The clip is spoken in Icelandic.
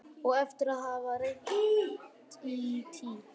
Og eftir að hafa reynt í tí